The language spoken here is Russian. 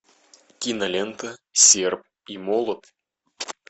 кинолента серп и молот